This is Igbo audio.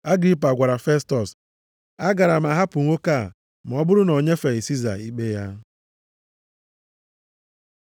Agripa gwara Festọs, “A gaara a hapụ nwoke a ma ọ bụrụ na o nyefeghị Siza ikpe ya.”